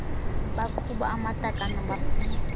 baqhuba amatakane baphuma